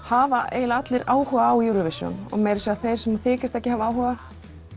hafa eiginlega allir áhuga á Eurovision og meira að segja þeir sem þykjast ekki hafa áhuga